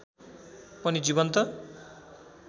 पनि जीवन्त